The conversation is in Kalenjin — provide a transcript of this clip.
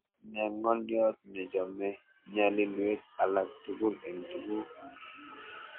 Ne ng'oliot nechome ny'alilweek alak tugul eng' tuguk